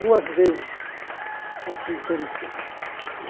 Duas vezes, assim, interessante.